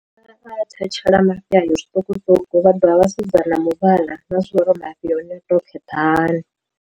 A thetshela mafhi a yo zwiṱukuṱuku vha dovha vha sedzana na muvhala vha mafhi a hone a tou kheṱha hani.